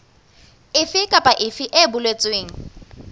efe kapa efe e boletsweng